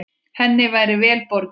Henni væri vel borgið.